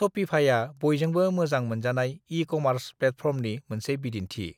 शपिफाइआ बयजोंबो मोजां मोनजानाय ई-कमार्स प्लेटफर्मनि मोनसे बिदिन्थि